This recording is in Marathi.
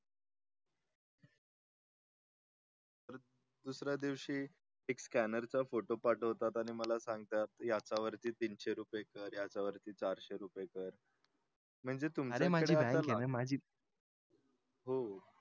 दुसऱ्या दिवशी एक scanner चा photo पाठवतात आणि मला सांगतात याच्या वरती तीनशे रुपये कर याच्या चारशे रुपये कर म्हणजे हो